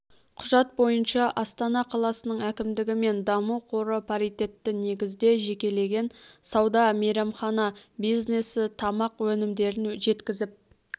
құжат бойынша астана қаласының әкімдігі мен даму қоры паритетті негізде жекелеген сауда мейрамхана бизнесі тамақ-өнімдерін жеткізіп